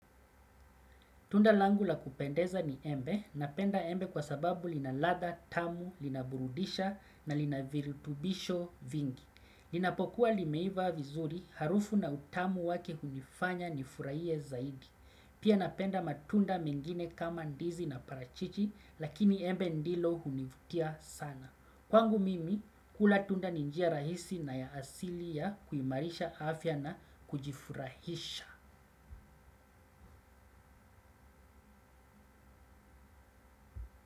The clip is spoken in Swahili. Tunda langu la kupendeza ni embe, napenda embe kwa sababu linaladha tamu, linaburudisha na linavirutubisho vingi. Linapokuwa limeiva vizuri, harufu na utamu wake hunifanya ni furahie zaidi. Pia napenda matunda mengine kama ndizi na parachichi, lakini embe ndilo hunivutia sana. Kwa ngu mimi, kula tunda ninjia rahisi na ya asili ya kuimarisha afya na kujifurahisha.